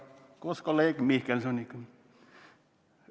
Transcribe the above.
" Seda ta küsib koos kolleeg Mihkelsoniga.